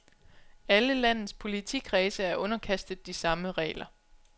Alle landets politikredse er underkastet de samme regler.